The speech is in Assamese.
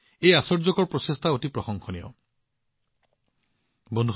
এই আশ্চৰ্যকৰ প্ৰচেষ্টাৰ ওপৰত যিমানেই প্ৰশংসা কৰা হয় সেয়া কমেই হয়